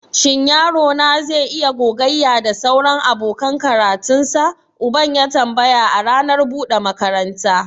Shin yaro na zai iya gogayya da sauran abokan karatunsa? Uban ya tambaya a ranar buɗe makaranta.